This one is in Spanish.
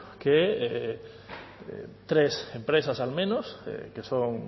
tres empresas al menos que son